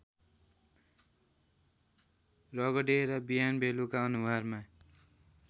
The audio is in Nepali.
रगडेर बिहानबेलुका अनुहारमा